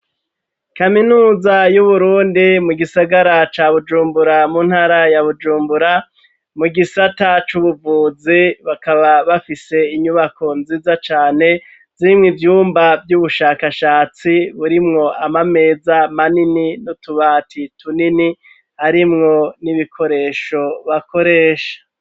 Kaminuza y'Uburundi, mu gisagara ca Bujumbura, mu ntara ya Bujumbura, mu gisata c'ubuvuzi, bakaba bafise inyubako nziza cane zirimwo ivyumba vy'ubushakashatsi, burimwo amameza manini n'utubati tunini, arimwo n'ibikoresho bakoresha.